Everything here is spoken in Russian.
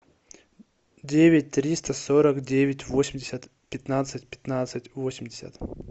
девять триста сорок девять восемьдесят пятнадцать пятнадцать восемьдесят